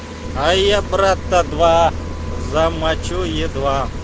а я брата два замочу едва